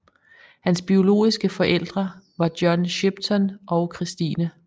Hans biologiske forældre var John Shipton og Christine